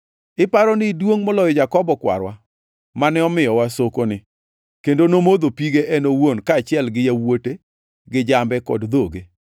Iparo ni iduongʼ moloyo Jakobo kwarwa mane omiyowa sokoni, kendo nomodho pige en owuon kaachiel gi yawuote, gi jambe kod dhoge?”